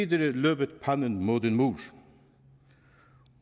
løbet panden mod en mur